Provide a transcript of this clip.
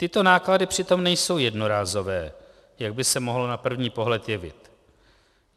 Tyto náklady přitom nejsou jednorázové, jak by se mohlo na první pohled jevit.